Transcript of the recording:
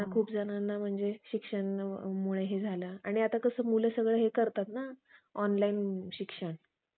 online शिक्षण